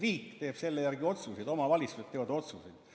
Riik teeb selle järgi otsuseid, omavalitsused teevad otsuseid.